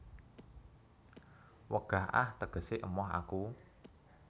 Wegah ah tegese emoh aku